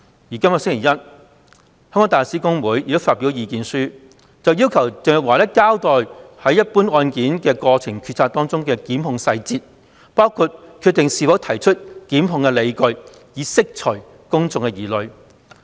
本星期一，香港大律師公會亦發表了意見書，要求鄭若驊交代一般案件的決策過程及檢控細節，包括是否決定提出檢控的理據，以釋除公眾疑慮。